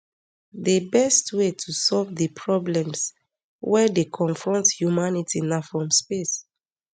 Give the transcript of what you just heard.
di best way to solve di problems wey dey confront humanity na from space